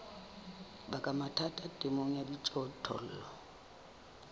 baka mathata temong ya dijothollo